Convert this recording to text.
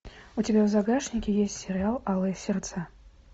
у тебя в загашнике есть сериал алые сердца